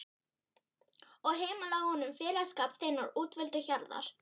og heimilaðu honum félagsskap þinnar útvöldu hjarðar.